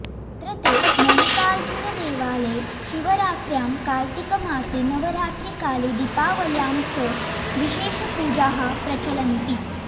अत्रत्ये मल्लिकार्जुनदेवालये शिवरात्र्यां कार्त्तिकमासे नवरात्रिकाले दीपावल्यां च विशेषपूजाः प्रचलन्ति